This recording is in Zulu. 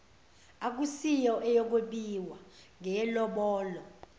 akusiyo eyokwebiwa ngeyelobolo